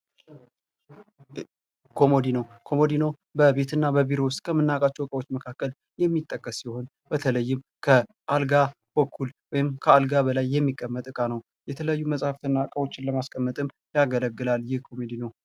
ኮሞዲኖ በቤትና ቢሮዎች ውስጥ የምናገኛቸው የሚጠቀሱት የሆኑ በተለይም ከአልጋ በጎን ወይንም ካልጋ በላይ የሚቀመጥ እቃ ነው የተለያዩ መጽሐፍት ለማስቀመጥም ያገለግል ይህ ኮመዲ፡፡